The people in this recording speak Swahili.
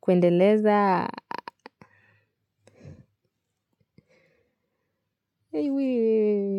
kuendeleza hei wei.